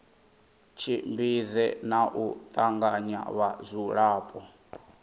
tshimbidze na u tanganya vhadzulapo